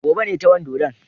Gobe ne ta wan dodon.